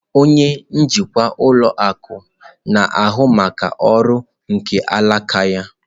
Onye njikwa ụlọ akụ na-ahụ maka ọrụ nke alaka ya.